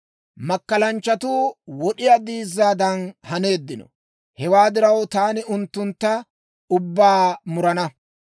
Makkalanchchatuu wod'iyaa diizzaadan haneeddino; hewaa diraw, taani unttuntta ubbaa murana.